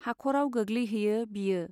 हाख'राव गोग्लैहैयो बियो।